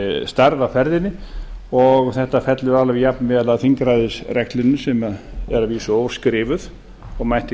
á ferðinni og þetta fellur alveg jafnvel að þingræðisreglunni sem er að vísu óskrifuð og mætti